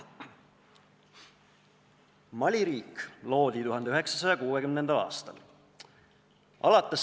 Mali riik loodi 1960. aastal.